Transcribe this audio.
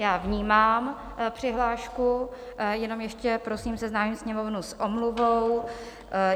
Já vnímám přihlášku, jenom ještě prosím seznámím Sněmovnu s omluvou.